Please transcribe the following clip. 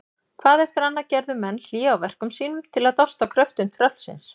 Hvað eftir annað gerðu menn hlé á verkum sínum til að dást að kröftum tröllsins.